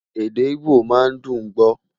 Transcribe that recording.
èdè igbó má n dùn gbọ